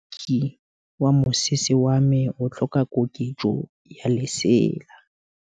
Moroki wa mosese wa me o tlhoka koketsô ya lesela.